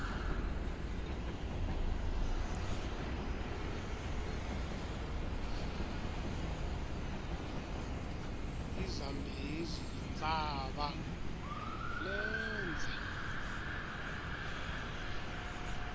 izambezi yintshaba lendze